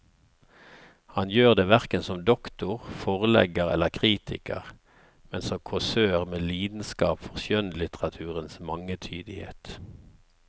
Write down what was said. Han gjør det hverken som doktor, forlegger eller kritiker, men som kåsør med lidenskap for skjønnlitteraturens mangetydighet.